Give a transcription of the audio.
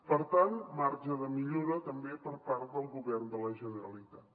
per tant marge de millora també per part del govern de la generalitat